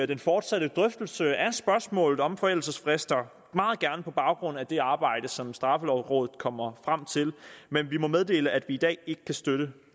den fortsatte drøftelse af spørgsmålet om forældelsesfrister meget gerne på baggrund af det arbejde som straffelovrådet kommer frem til men vi må meddele at vi i dag ikke kan støtte